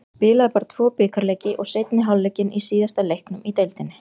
Ég spilaði bara tvo bikarleiki og seinni hálfleikinn í síðasta leiknum í deildinni.